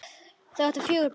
Þau áttu fjögur börn.